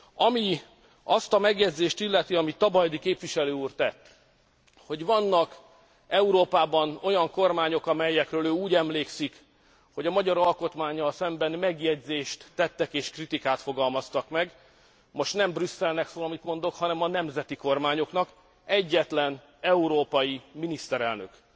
Ami azt a megjegyzést illeti, amit Tabajdi képviselő úr tett, hogy vannak Európában olyan kormányok, amelyekről ő úgy emlékszik, hogy a magyar alkotmánnyal szemben megjegyzést tettek és kritikát fogalmaztak meg most nem Brüsszelnek szól, amit mondok, hanem a nemzeti kormányoknak egyetlen európai miniszterelnök,